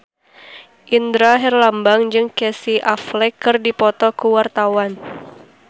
Indra Herlambang jeung Casey Affleck keur dipoto ku wartawan